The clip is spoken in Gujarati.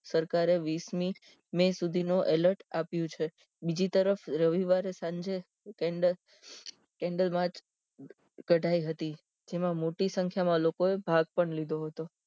સરકાર એ વીસમી મેં સુધી નો alert આપ્યું છે બીજી તરફ રવિવારે સાંજે માર્ચ કઢાઈ હતી જેમાં મોટી સંખ્યા માં લોકો એ ભાગ પણ લીધો હતો